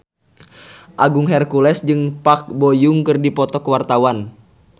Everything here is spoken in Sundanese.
Agung Hercules jeung Park Bo Yung keur dipoto ku wartawan